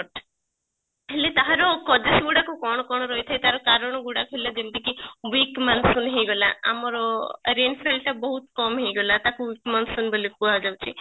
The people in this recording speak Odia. ହେଲେ ତାହାର causes ଗୁଡା କ କଣ କଣ ତାର କାରଣ ଗୁଡାକ ହେଲା ଯେମିତି କି week monsoon ହେଇଗଲା ଆମର rainfall ଟା ବହୁତ କମ ହେଇଗଲା ତାକୁ week monsoon ବୋଲି କୁହାଯାଉଛି